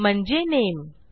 म्हणजे नामे